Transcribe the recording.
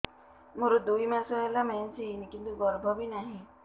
ମୋର ଦୁଇ ମାସ ହେଲା ମେନ୍ସ ହେଇନି କିନ୍ତୁ ଗର୍ଭ ବି ନାହିଁ